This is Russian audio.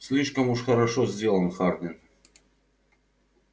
слишком уж хорошо сделан хардин